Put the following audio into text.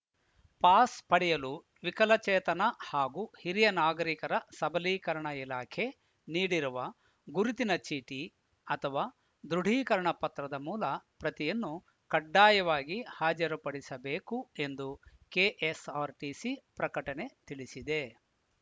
pass ಪಡೆಯಲು ವಿಕಲಚೇತನ ಹಾಗೂ ಹಿರಿಯನಾಗರಿಕರ ಸಬಲೀಕರಣ ಇಲಾಖೆ ನೀಡಿರುವ ಗುರುತಿನ ಚೀಟಿ ಅಥವಾ ದೃಢೀಕರಣ ಪತ್ರದ ಮೂಲ ಪ್ರತಿಯನ್ನು ಕಡ್ಡಾಯವಾಗಿ ಹಾಜರುಪಡಿಸಬೇಕು ಎಂದು ಕೆಎಸ್‌ಆರ್‌ಟಿಸಿ ಪ್ರಕಟಣೆ ತಿಳಿಸಿದೆ